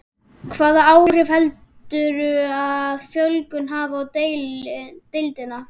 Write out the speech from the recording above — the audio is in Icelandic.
Hvaða áhrif heldurðu að fjölgunin hafi á deildina?